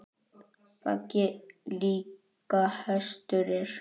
Baggi líka hestur er.